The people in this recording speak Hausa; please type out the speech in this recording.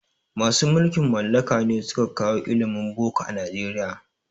Masu mulkin mallaka ne suka kawo ilimin boko a Nijeriya